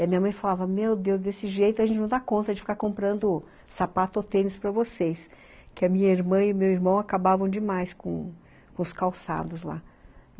E a minha mãe falava, Meu Deus, desse jeito a gente não dá conta de ficar comprando sapato ou tênis para vocês, que a minha irmã e meu irmão acabavam demais com com os calçados lá.